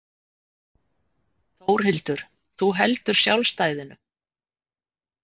Þórhildur: Þú heldur sjálfstæðinu?